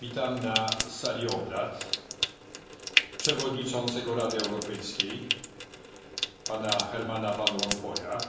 Witam na sali obrad przewodniczącego Rady Europejskiej, Pana Hermana Van Rompuya,